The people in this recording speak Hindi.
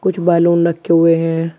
कुछ बैलून रखे हुए हैं।